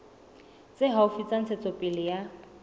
tse haufi tsa ntshetsopele ya